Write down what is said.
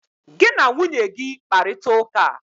Gị na nwunye gị kparita ụka!